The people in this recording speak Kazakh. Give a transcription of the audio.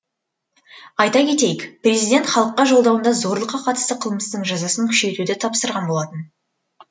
айта кетейік президент халыққа жолдауында зорлыққа қатысты қылмыстың жазасын күшейтуді тапсырған болатын